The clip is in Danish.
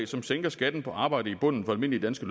som sænker skatten på arbejde i bunden for almindelige danske